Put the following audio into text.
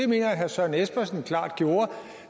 mener jeg herre søren espersen klart gjorde